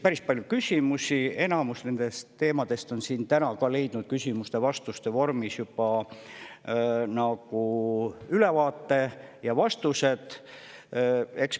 Enamusele nende teemade kohta oleme siin täna juba küsimuste-vastuste vormis vastused leidnud ja ülevaate.